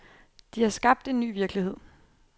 De har skabt en ny virkelighed.